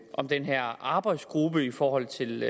om den her arbejdsgruppe i forhold til